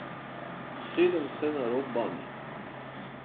Usedem se na rob banje.